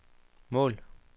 mål